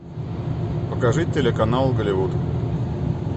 покажи телеканал голливуд